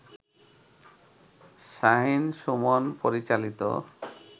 শাহিন-সুমন পরিচালিত